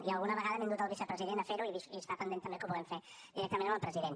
i alguna vegada m’he endut el vicepresident a fer ho i està pendent també que ho puguem fer directament amb el president